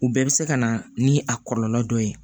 U bɛɛ bɛ se ka na ni a kɔlɔlɔ dɔ ye